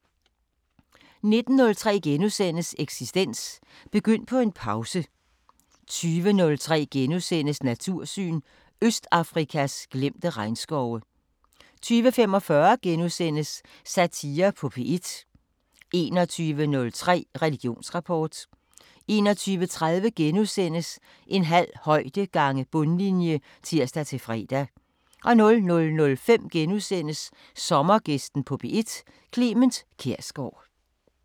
19:03: Eksistens: Begynd på en pause * 20:03: Natursyn: Østafrikas glemte regnskove * 20:45: Satire på P1 * 21:03: Religionsrapport 21:30: En halv højde gange bundlinje *(tir-fre) 00:05: Sommergæsten på P1: Clement Kjersgaard *